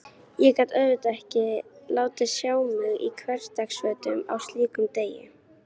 Ég gat auðvitað ekki látið sjá mig í hversdagsfötunum á slíkum degi.